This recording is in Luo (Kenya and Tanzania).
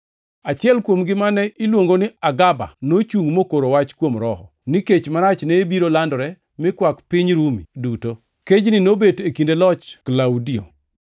Achiel kuomgi, mane iluongo ni Agaba nochungʼ mokoro wach kuom Roho, ni kech marach ne biro landore mi kwak piny Rumi duto. Kejni nobet e kinde loch Klaudio.